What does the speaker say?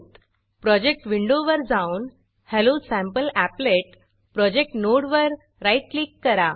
project project विंडोवर जाऊन hello sample applet hello sample applet project नोडवर राईट क्लिक करा